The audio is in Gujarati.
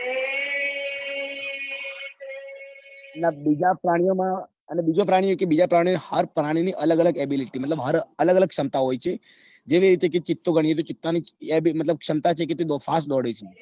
અને બીજા પ્રાણીઓ માં અને બીજા પ્રાણીઓ કે અને બીજા પ્રાણીઓ હાર પ્રાણી ની અલગ અલગ abilit મતલબ હર અલગ અલગ ક્ષમતા હોય છે જેવી રીતે ચિંતા ની ક્ષમતા છે કે તે બૌ fast દોડે છે